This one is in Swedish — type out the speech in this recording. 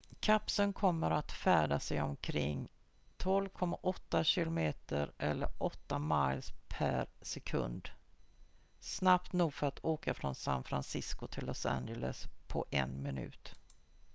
kapseln kommer att färdas i omkring 12,8 km eller 8 miles per sekund snabbt nog för att åka från san francisco till los angeles på en minut